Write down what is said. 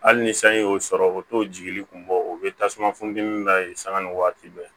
Hali ni sanji y'o sɔrɔ o t'o jigili kun bɔ o bɛ tasuma funtɛni la yen sanga ni waati bɛɛ